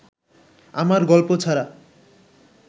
আমার গল্প ছাড়া